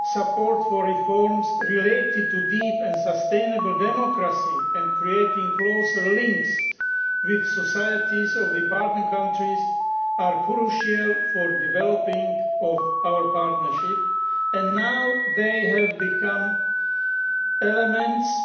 Support for reforms related to deep and sustainable democracy and creating closer links with the societies of partner countries are crucial for developing our partnership, and now they have become elements